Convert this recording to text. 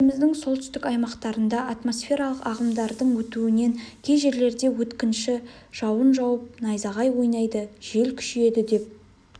еліміздің солтүстік аймақтарында атмосфералық ағымдардың өтуінен кей жерлерде өткінші жауын жауып найзағай ойнайды жел күшейеді деп